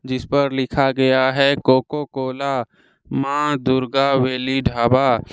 इस पर लिखा गया है कोको कोला मां दुर्गा वेली ढाबा--